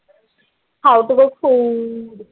how to